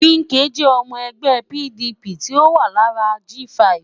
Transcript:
Wike jẹ́ ọmọ ẹgbẹ́ PDP tí ó wà lára G5